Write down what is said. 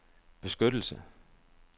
beskyttelse